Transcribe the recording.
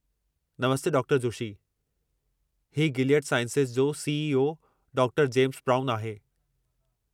नमस्ते डॉ.जोशी। ही Gilead sciences जो C. ई. ओ. डॉ. James brown आहे।